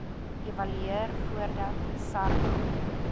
evalueer voordat sarnap